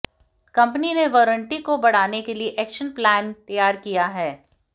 company ने warranty को बढ़ाने के लिए एक्शन प्लान तैयार किया है